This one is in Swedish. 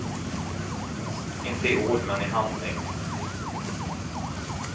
Inte i ord men i handling.